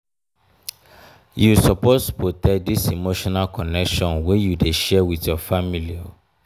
you suppose protect dis emotional connection wey you dey share wit your family.